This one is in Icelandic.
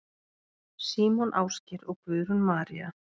Símon Ásgeir og Guðrún María.